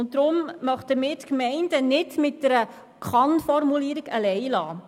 Deswegen möchten wir die Gemeinden nicht mit einer Kann-Formulierung alleine lassen.